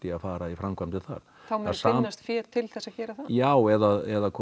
að fara í framkvæmdir þar þá mun finnast fé til að gera það já eða